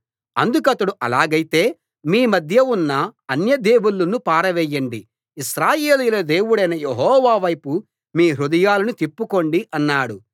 అందుకతడు అలాగైతే మీ మధ్య ఉన్న అన్యదేవుళ్ళను పారవేయండి ఇశ్రాయేలీయుల దేవుడైన యెహోవా వైపు మీ హృదయాలను తిప్పుకోండి అన్నాడు